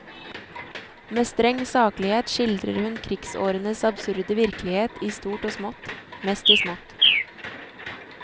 Med streng saklighet skildrer hun krigsårenes absurde virkelighet i stort og smått, mest i smått.